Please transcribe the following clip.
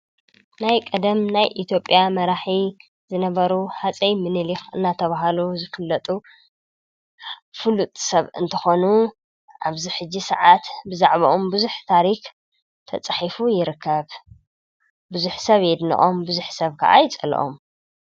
ናይ ቀደም ናይ ኢትዮጵያ መራሒ ዝነበሩ ሃፀይ ምንሊክ እናተባህሉ ዝፍለጡ ፍሉጥ ሰብ እንትኾኑ ኣብዚ ሕጂ ሰዓት ብዛዕቦኦም ብዙሕ ታሪክ ተፃሒፉ ይርከብ፡፡ ብዙሕ ሰብ የድንቖም፤ ብዙሕ ሰብ ከዓ ይፀልኦም፡፡